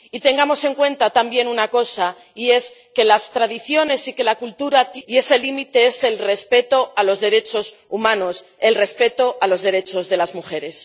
Y tengamos en cuenta también una cosa, y es que las tradiciones y la cultura tienen un límite y ese límite es el respeto de los derechos humanos, el respeto de los derechos de las mujeres.